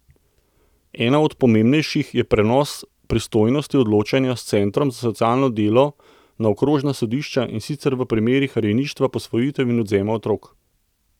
Ena od pomembnejših je prenos pristojnosti odločanja s centrov za socialno delo na okrožna sodišča, in sicer v primerih rejništva, posvojitev in odvzema otrok.